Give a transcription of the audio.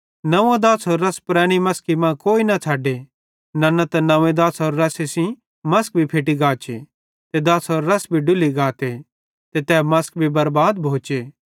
नंव्वो दाछ़रो रस पुरैनी मसकी मां कोई न छ़ड्डे नन्ना त नंव्वे दाछ़रो रस सेइं मसक भी फैट्टी गाचे ते दाछ़रो रस भी डुल्ली गाते ते तै मसक भी बरबाद भोचे